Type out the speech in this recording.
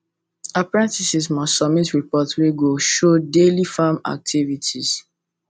apprentices must submit report wey go show daily farm activities